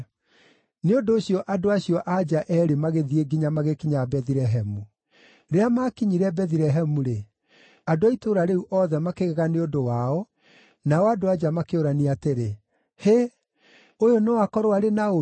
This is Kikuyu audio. Nĩ ũndũ ũcio andũ acio a nja eerĩ magĩthiĩ nginya magĩkinya Bethilehemu. Rĩrĩa maakinyire Bethilehemu-rĩ, andũ a itũũra rĩu othe makĩgega nĩ ũndũ wao, nao andũ-a-nja makĩũrania atĩrĩ, “Hĩ! Ũyũ no akorwo arĩ Naomi?”